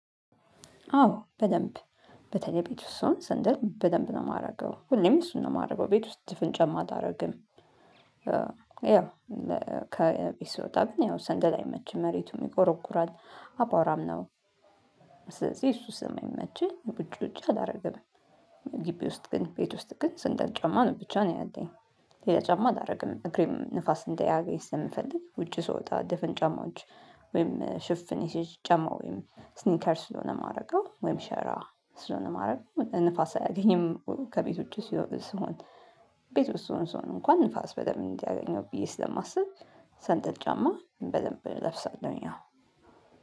አዎ በደንብ በተለይ ቤት ውስጥ ሰውን ሰንደል በደንብ ነው የማደርገው ሁሌም እሱን ነው የማደርገው ቤት ውስጥ ድፍን ጫማ አላደርግም። ያው ከቤት ስወጣ ግን ሰንደል መቼ መሬቱ ይቆረቁራል አባራም ነው። ስለዚህ እሱ ስም የሚመችል ብጭ ብጭ አላደርግም። ግቢ ውስጥ ግን ቤት ውስጥ ግን ስንደል ጨማ ነው ብቻ ነው ያለኝ። ሌላ ጨማ አላደርግም እግሬም ንፋስ እንዳያገኝ ስለምፈልግ ውጭ ስወጣ ድፍን ጫማዎች ወይም ሽፍን ይስጭ ጫማ ወይም ስኒከር ስለሆነ ማረጋው ወይም ሸራ ስለሆነ ማረጋ ንፋስ አያገኝም ከቤቶቹ ሲሉ ስሆን። ቤት ውስጥ ስሆን ስሆን እንኳን ንፋስ በደም እንዲያገኘው ብዬ ስለማስብ ሰንደል ጫማ በደንብ እለብሳለሁ። እኛ